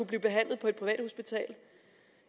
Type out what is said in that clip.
blive behandlet på et privathospital